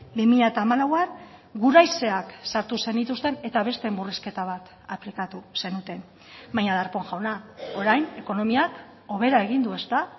bi mila hamalauan guraizeak sartu zenituzten eta beste murrizketa bat aplikatu zenuten baina darpón jauna orain ekonomiak hobera egin du ezta